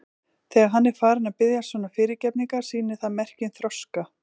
Þegar hann er farinn að biðjast svona fyrirgefningar sýnir það merki um þroska.